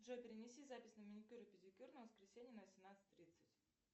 джой перенеси запись на маникюр и педикюр на воскресенье на восемнадцать тридцать